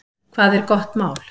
Hvað er gott mál?